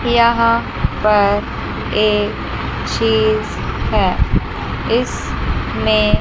यहां पर एक चीज हैं इसमे--